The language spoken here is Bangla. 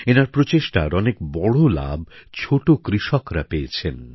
তাঁর প্রচেষ্টার অনেক বড় সুবিধা ছোট কৃষকরা পেয়েছেন